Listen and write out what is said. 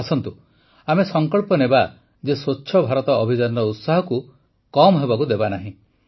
ଆସନ୍ତୁ ଆମେ ସଙ୍କଳ୍ପ ନେବା ଯେ ସ୍ୱଚ୍ଛ ଭାରତ ଅଭିଯାନର ଉତ୍ସାହକୁ କମ୍ ହେବାକୁ ଦେବାନାହିଁ